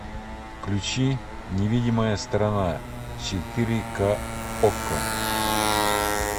включи невидимая сторона четыре ка окко